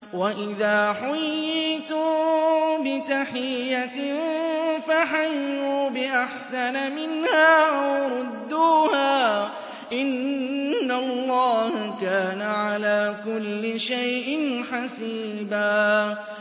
وَإِذَا حُيِّيتُم بِتَحِيَّةٍ فَحَيُّوا بِأَحْسَنَ مِنْهَا أَوْ رُدُّوهَا ۗ إِنَّ اللَّهَ كَانَ عَلَىٰ كُلِّ شَيْءٍ حَسِيبًا